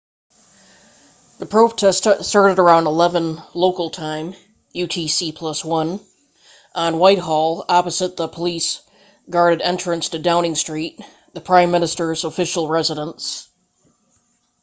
the protest started around 11:00 local time utc+1 on whitehall opposite the police-guarded entrance to downing street the prime minister's official residence